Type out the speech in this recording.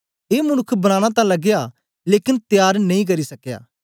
ए मनुक्ख बनाना तां लगया लेकन त्यार नेई करी सकया